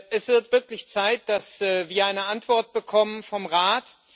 Es wird wirklich Zeit, dass wir eine Antwort bekommen vom Rat.